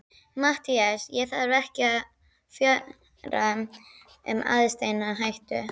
MATTHÍAS: Ég þarf ekki að fjölyrða um aðsteðjandi hættu.